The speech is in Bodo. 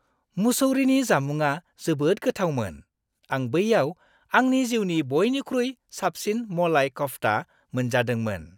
मुसौरीनि जामुंआ जोबोद गोथावमोन। आं बैयाव आंनि जिउनि बइनिख्रुइ साबसिन मलाई कफ्ता मोनजादोंमोन।